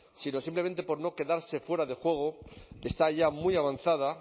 sino simplemente por no quedarse fuera de juego está ya muy avanzada